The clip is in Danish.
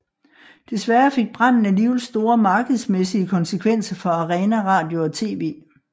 Desværre fik branden alligevel store markedsmæssige konsekvenser for Arena Radio og TV